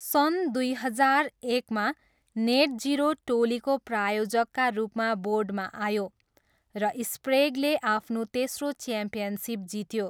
सन् दुई हजार एकमा, नेटजिरो टोलीको प्रायोजकका रूपमा बोर्डमा आयो, र स्प्रेगले आफ्नो तेस्रो च्याम्पियनसिप जित्यो।